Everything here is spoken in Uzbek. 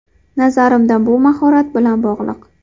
Nazarimda bu mahorat bilan bog‘liq.